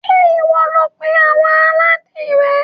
Ṣé ìwọ ló pé àwọn aládìrẹ?